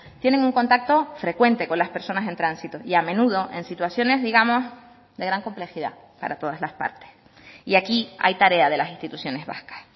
tienen un contacto frecuente con las personas en tránsito y a menudo en situaciones digamos de gran complejidad para todas las partes y aquí a hay tarea de las instituciones vascas